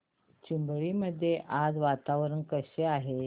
चिंबळी मध्ये आज वातावरण कसे आहे